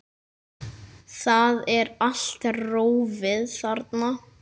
Það er allt rófið þarna.